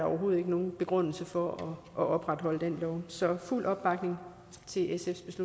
nogen begrundelse for at opretholde den lov så der er fuld opbakning til sfs